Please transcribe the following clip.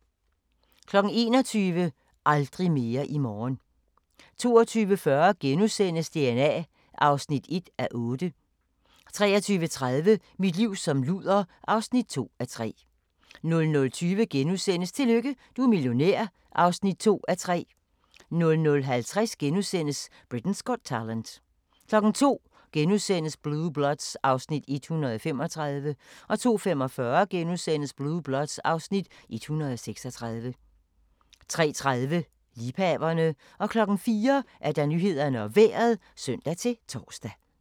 21:00: Aldrig mere i morgen 22:40: DNA (1:8)* 23:30: Mit liv som luder (2:3) 00:20: Tillykke, du er millionær (2:3)* 00:50: Britain's Got Talent * 02:00: Blue Bloods (Afs. 135)* 02:45: Blue Bloods (Afs. 136)* 03:30: Liebhaverne 04:00: Nyhederne og Vejret (søn-tor)